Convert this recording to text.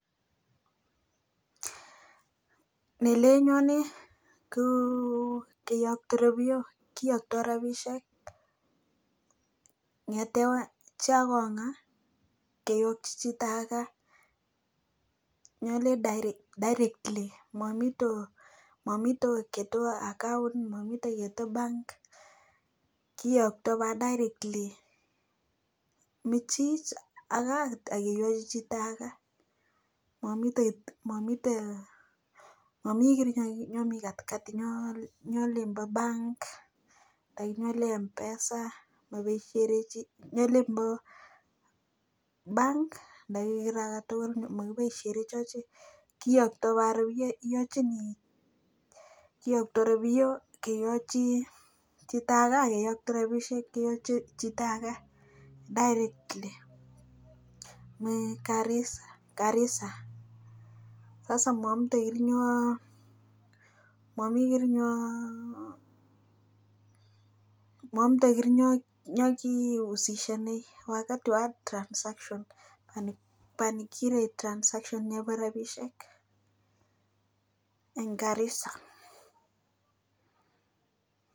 Nelenyone kouu keyokto rabiok kiyoktoi rabisiek kongete chiakonga keyokti chito ake directly mamito otiny tuwai account mamite chebo bank kiyoktoi koba directly michit aka kibopiosie chito ake mami kiy nemii katikati eng olin kobo bank anan ko mpesa ak olin bo bank makiboisie chi kiyoktoi anan iyokchini chito ake directly mi garissa amu maamdoi ing yo mamdoi kirinyo kisischin nebo transaction anan bonikire transaction nebo rabisiek eng garissa